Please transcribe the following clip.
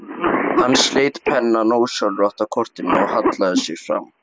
Hann sleit pennann ósjálfrátt af kortinu og hallaði sér fram.